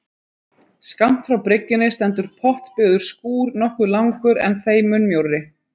Skammt frá bryggjunni stendur portbyggður skúr nokkuð langur, en þeim mun mjórri.